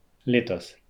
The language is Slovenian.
Letos.